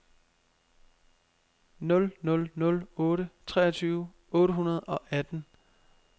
nul nul nul otte treogtyve otte hundrede og atten